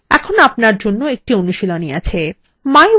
এখানে আপনার জন্য একটি অনুশীলনী আছে